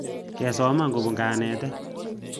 Kesoman kopun kanetet